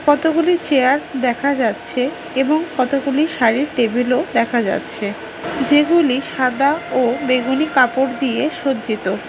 কতগুলি চেয়ার দেখা যাচ্ছে এবং কতগুলি শাড়ির টেবিল ও দেখা যাচ্ছে যেগুলি সাদা ও বেগুনি কাপড় দিয়ে সজ্জিত।